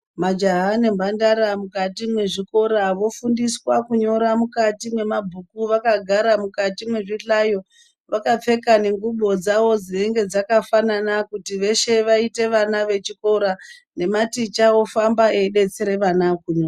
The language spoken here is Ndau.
Majaha nemhandara mukati mezvikora vofundiswa kunyora mukati mwemabhuku vakagara mukati mezvihlayo, vakapfeka nengubo dzavo dzinenge dzkafanana kuti veshe vaite vana vechikora nematicha ofamba eibetsere vana kumwe.